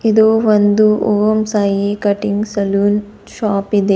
ಇದು ಒಂದು Om Sai cutting saloon shop ಇದೆ.